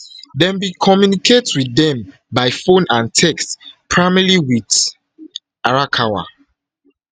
dem bin communicate wit dem by phone and text primarily wit arakawa